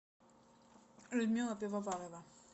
людмила пивоварова